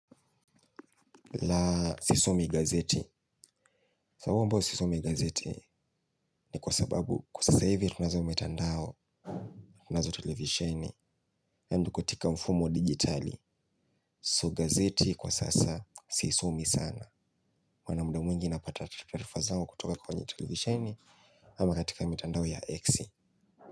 Ila sisomi gazeti kwa huwa sisomi gazeti ni kwa sababu kwa sasa hivi tunazo mitandao tunazo televisheni yani katpika mfumo digitali so gazeti kwa sasa sisomi sana wana mda mwingi napata tarifa zao kutoka kwa wanye televisheni ama katika mutandao wa X.